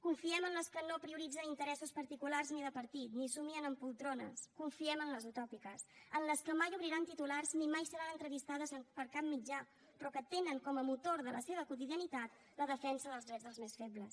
confiem en les que no prioritzen interessos particulars ni de partit ni somnien en poltrones confiem en les utòpiques en les que mai obriran titulars ni mai seran entrevistades per cap mitjà però que tenen com a motor de la seva quotidianitat la defensa dels drets dels més febles